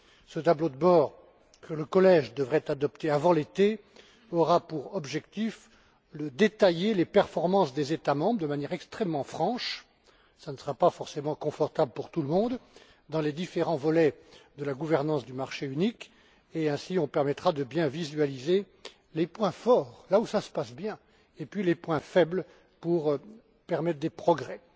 Ce tableau de bord que le collège devrait adopter avant l'été aura pour objectif de détailler les performances des États membres de manière extrêmement franche ce qui ne sera pas forcément confortable pour tout le monde dans les différents volets de la gouvernance du marché unique, et il permettra de bien visualiser les points forts, où tout se passe bien, et les points faibles, pour permettre des progrès.